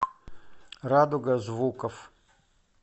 радуга звуков